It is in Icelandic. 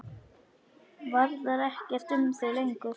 Varðar ekkert um þau lengur.